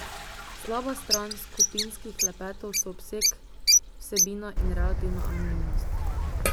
Slaba stran skupinskih klepetov so obseg, vsebina in relativna anonimnost.